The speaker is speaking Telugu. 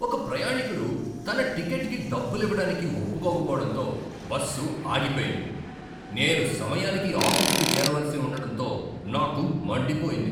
ఒక ప్రయాణీకుడు తన టికెట్కి డబ్బులివ్వడానికి ఒప్పుకోకపోవడంతో బస్సు ఆగిపోయింది. నేను సమయానికి ఆఫీసుకు చేరవలసి ఉండటంతో నాకు మండిపోయింది.